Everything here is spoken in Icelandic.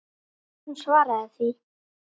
Hún svaraði því.